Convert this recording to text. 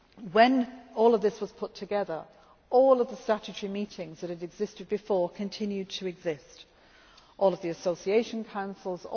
When all of this was put together, all of the statutory meetings which existed before continued to exist, all of the association councils.